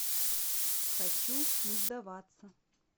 хочу не сдаваться